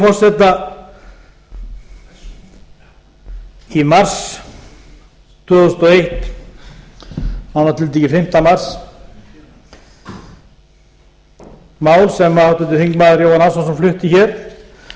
í þann sem hér stendur um það að hann væri fastur í einhverri fortíð og einhverjum veruleika sem honum geðjaðist ekki að þá sagði hæstvirtur